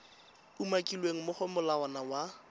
umakilweng mo go molawana wa